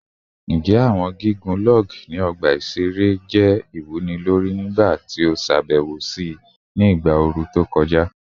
Njẹ awọn gigun log ni ọgba iṣere iṣere jẹ iwunilori nigbati o ṣabẹwo si igba ooru to kọja?